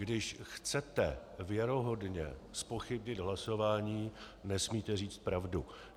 Když chcete věrohodně zpochybnit hlasování, nesmíte říci pravdu.